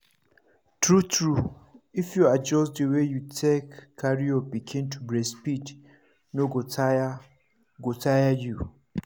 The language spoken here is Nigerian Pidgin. true true if you adjust the way you take carry your pikin to breastfeed no go tire go tire you